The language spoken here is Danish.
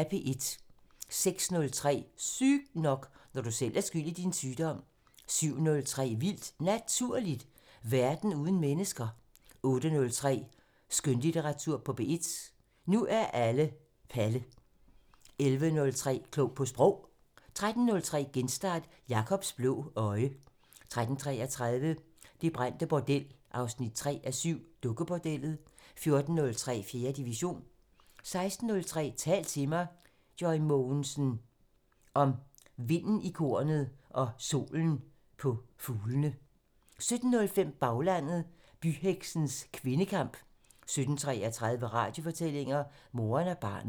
06:03: Sygt nok: Når du selv er skyld i din sygdom 07:03: Vildt Naturligt: Verden uden mennesker 08:03: Skønlitteratur på P1: Når alle er Palle 11:03: Klog på Sprog 13:03: Genstart: Jakobs blå øje 13:33: Det brændte bordel 3:7 – Dukkebordellet 14:03: 4. division 16:03: Tal til mig – Joy Mogensen: Om vinden i kornet og solen på fuglene 17:05: Baglandet: Byheksenes kvindekamp 17:33: Radiofortællinger: Moren og barnet